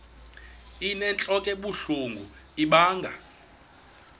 inentlok ebuhlungu ibanga